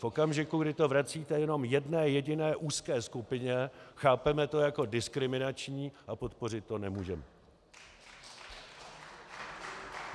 V okamžiku, kdy to vracíte jenom jedné jediné úzké skupině, chápeme to jako diskriminační a podpořit to nemůžeme.